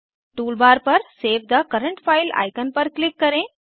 toolbar पर save the current file icon पर click करें